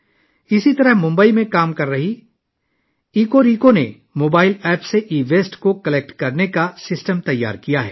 اسی طرح ممبئی میں کام کرنے والی ایکو ریکو نے موبائل ایپ کے ذریعے ای ویسٹ کو جمع کرنے کا ایک نظام تیار کیا ہے